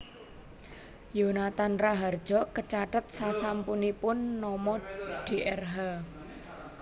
Yonathan Rahardjo kecathet sasampunipun nama Drh